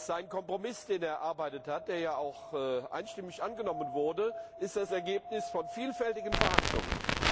Sein Kompromiss, den er erarbeitet hat, der auch einstimmig angenommen wurde, ist das Ergebnis vielfältiger Verhandlungen.